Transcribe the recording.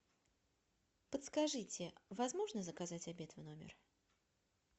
подскажите возможно заказать обед в номер